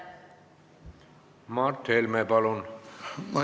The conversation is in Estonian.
Mart Helme, palun!